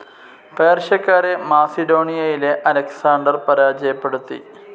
പേർഷ്യക്കാരെ മാസിഡോണിയയിലെ അലക്സാൻഡർ പരാജയപ്പെടുത്തി.